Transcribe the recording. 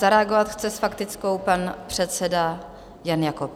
Zareagovat chce s faktickou pan předseda Jan Jakob.